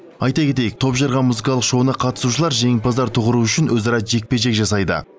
айта кетейік топжарған музыкалық шоуына қатысушылар жеңімпаздар тұғыры үшін өзара жекпе жек жасайды